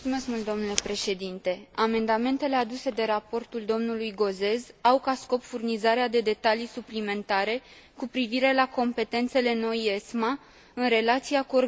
Amendamentele aduse de raportul domnului Gauzès au ca scop furnizarea de detalii suplimentare cu privire la competențele noii ESMA în relația cu organismele naționale.